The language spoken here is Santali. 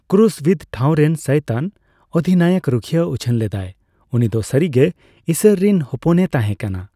ᱠᱨᱩᱥ ᱵᱤᱫ ᱴᱷᱟᱸᱣ ᱨᱮᱱ ᱥᱟᱭᱛᱟᱱᱼᱚᱫᱷᱤᱱᱟᱭᱚᱠ ᱨᱩᱠᱷᱤᱭᱟᱹ ᱩᱪᱷᱟᱹᱱ ᱞᱮᱫᱟᱭ, ᱩᱱᱤ ᱫᱚ ᱥᱟᱹᱨᱤ ᱜᱮ ᱤᱥᱚᱨ ᱨᱮᱱ ᱦᱚᱯᱚᱱᱮ ᱛᱟᱸᱦᱮ ᱠᱟᱱᱟ ᱾